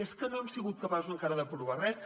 és que no han sigut capaços encara d’aprovar res